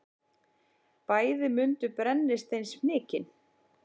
Bæði mundu brennisteinsfnykinn.